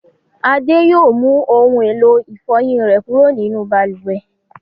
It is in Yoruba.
Adé yóò mú ohun-èlò ìfọyín rẹ̀ kúrò nínú balùwẹ̀.